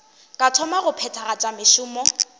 ka thoma go phethagatša mešomo